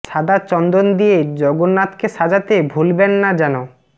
সাদা চন্দন দিয়ে জগন্নাথকে সাজাতে ভুলবেন না যেন